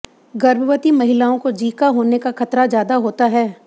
गर्भवती महिलाओं को जीका होने का खतरा ज्यादा होता है